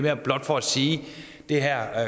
er blot for at sige at det her